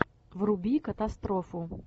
вруби катастрофу